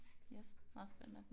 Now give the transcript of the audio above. Yes. Meget spændende